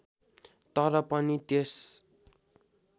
तर पनि त्यस